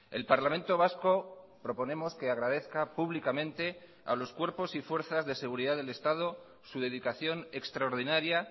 el parlamento vasco proponemos que agradezca públicamente a los cuerpos y fuerzas de seguridad del estado su dedicación extraordinaria